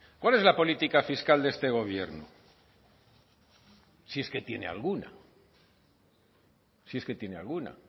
cuál es la política fiscal de este gobierno si es que tiene alguna si es que tiene alguna